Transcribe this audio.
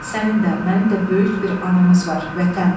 Sənin də, mənim də böyük bir anamız var – Vətən!